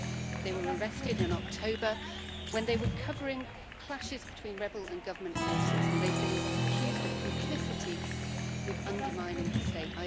They were arrested in October when they were covering clashes between rebel and government forces and they've been accused of complicity with undermining the State.